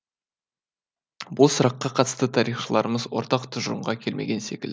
бұл сұраққа қатысты тарихшыларымыз ортақ тұжырымға келмеген секілді